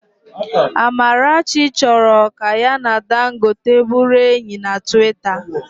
Amarachi chọrọ ka ya na Dangote bụrụ enyi na Twita